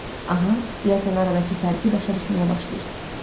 Aha, deyəsən aradakı fərqi başa düşməyə başlayırsız.